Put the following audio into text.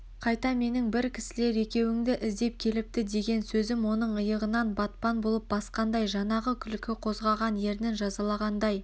қайта менің бір кісілер екеуіңді іздеп келіпті деген сөзім оның иығынан батпан болып басқандай жанағы күлкі қозғаған ернін жазалағандай